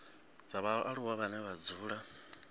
dza vhaaluwa vhane vha dzula